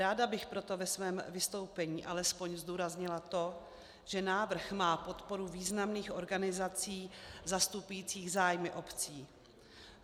Ráda bych proto ve svém vystoupení alespoň zdůraznila to, že návrh má podporu významných organizací zastupujících zájmy obcí.